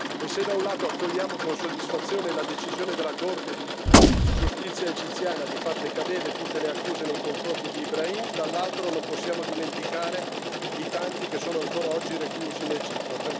E se da un lato accogliamo con soddisfazione la decisione della Corte di giustizia egiziana di far decadere tutte le accuse nei confronti di Ibrahim, dall'altro non possiamo dimenticare i tanti che sono ancora oggi reclusi in Egitto.